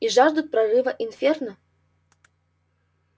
и жаждут прорыва инферно